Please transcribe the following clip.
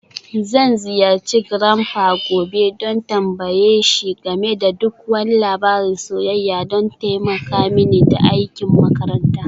Zan ziyarci grandpa gobe don tambaye shi game da duk wani labarin soyayya don taimaka mini da aikin makaranta.